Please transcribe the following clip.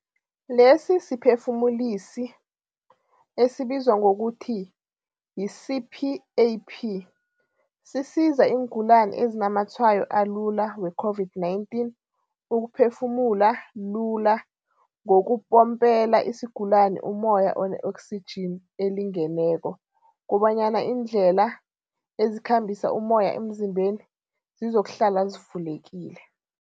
Lesisiphefumulisi, esibizwa ngokuthi yi-CPAP, sisiza iingulani ezinamatshwayo alula we-COVID-19 ukuphefumula lula ngokupompela isigulani ummoya one-oksijini elingeneko kobanyana iindlela ezikhambisa ummoya emzimbeni zizokuhlala zivulekile.